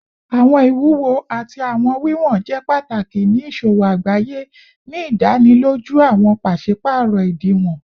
Awọn iwuwo ati awọn wiwọn jẹ pataki ni iṣowo agbaye, ni idaniloju awọn paṣipaarọ idiwọn